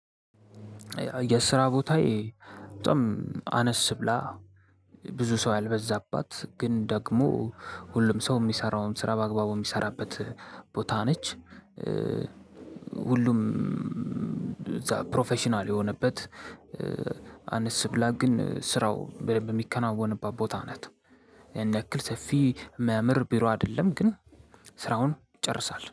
የስራ ቦታዬ በጣም አነስ ብላ ብዙ ሰው ያልበዛባት ግን ደግሞ ሁሉም ሰው የሚሰራውን ስራ በአግባቡ የሚሰራበት ቦታ ነች። ሁሉም እዛ ፕሮፌሽናል የሆነበት። አንስ ብላ ግን ስራው በደምብ ሚከናወንባት ቦታ ናት። ያን ያክል ሰፊ የሚያምር ቢሮ አይደለም ግን ስራውን ይጨርሳል